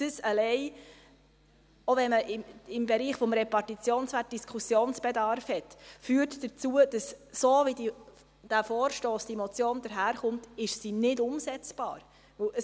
Dies allein – selbst wenn man im Bereich des Repartitionswerts Diskussionsbedarf hat – führt dazu, dass der Vorstoss, diese Motion, so wie er daherkommt, nicht umsetzbar ist.